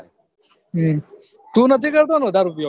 તું નથી કરતો ને વધાર ઉપયોગ